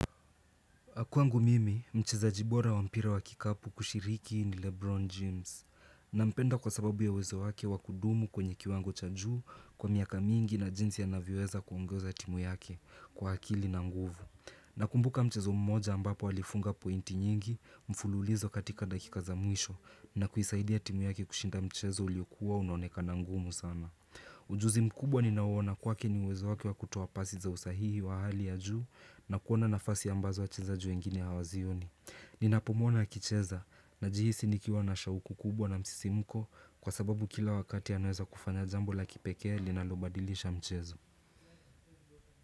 Kwangu mimi, mchezaji bora wa mpira wa kikapu kushiriki ni Lebron James. Na mpenda kwa sababu ya wezo wake wakudumu kwenye kiwango cha juu kwa miaka mingi na jinsi anavyoweza kuongeza timu yake kwa hakili na nguvu. Na kumbuka mchezo mmoja ambapo walifunga pointi nyingi, mfululizo katika dakikaza mwisho na kuisaidia timu yake kushinda mchezo uliokuwa unaoneka ngumu sana. Ujuzi mkubwa ninauona kwake ni wezo wake wa kutoa pasi za usahihi wa hali ya juu na kuona nafasi ambazo wachezaji wengine hawazioni Ninapomuona akicheza najihisi ni kiwa na shauku kubwa na msisimuko Kwa sababu kila wakati anaweza kufanya jambo la kipekee linalobadilisha mchezo.